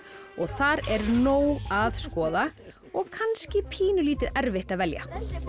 og þar er nóg að skoða og kannski pínulítið erfitt að velja